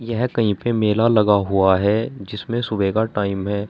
यह कहीं पे मेला लगा हुआ है जिसमें सुबह का टाइम है।